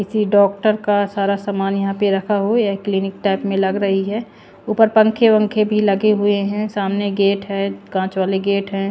किसी डॉक्टर का सारा सामान यहां पर रखा हो य क्लीनिक टाइप में लग रही है ऊपर पंखे-वंखे भी लगे हुए हैं सामने गेट है कांच वाले गेट हैं।